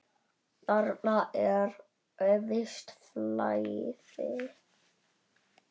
Þarna er visst flæði.